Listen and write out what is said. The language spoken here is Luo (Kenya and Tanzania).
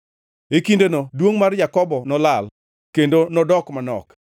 “E kindeno duongʼ mar Jakobo nolal; kendo nodok manok.